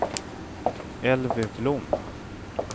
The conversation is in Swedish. Elvy Blom